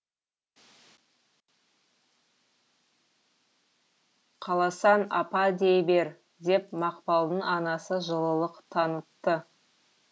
қаласаң апа дей бер деп мақпалдың анасы жылылық танытты